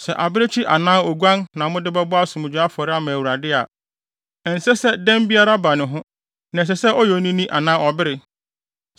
“ ‘Sɛ abirekyi anaa oguan na mode bɛbɔ asomdwoe afɔre ama Awurade a, ɛnsɛ sɛ dɛm biara ba ne ho na ɛsɛ sɛ ɔyɛ onini anaa ɔbere.